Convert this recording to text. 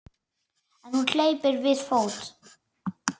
En hún hleypur við fót.